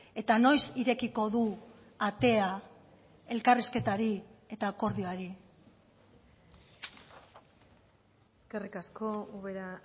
eta noiz irekiko du atea elkarrizketari eta akordioari eskerrik asko ubera